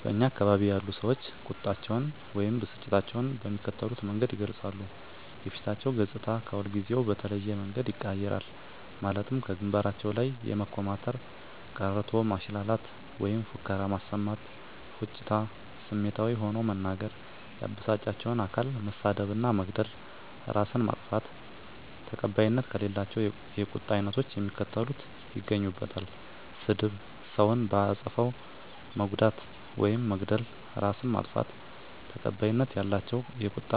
በእኛ አካባቢ ያሉ ሰዎች ቁጣቸውን ወይም ብስጭታቸውን በሚከተሉት መንገድ ይገልጻሉ:- የፊታቸው ገፅታ ከሁልጊዜው በተለየ መንገድ ይቀያየራል ማለትም ከግንባራቸው ላይ የመኮማተር፤ ቀረርቶ ማሽላላት ወይም ፉከራ ማሰማት፤ ፉጭታ፤ ስሜታዊ ሆኖ መናገር፤ ያበሳጫቸውን አካል መሳደብ እና መግደል፤ እራስን ማጥፋት። ተቀባይነት ከሌላቸው የቁጣ አይነቶች የሚከተሉት ይገኙበታል -ስድብ፤ ሰውን በአጠፋው መጉዳት ውይም መግደል፤ እራስን ማጥፋት። ተቀባይነት ያላቸው የቁጣ